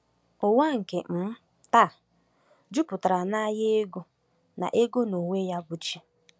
Ụwa nke um taa jupụtara n’anya ego na ego na onwe-ya-bụchi.